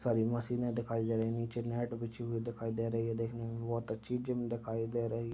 सारी मशीनें दिखाई दे रही हैं। नीचे नेट बिछी हुई दिखाई दे रही है। देखने में बहोत अच्छी जिम दिखाई दे रही --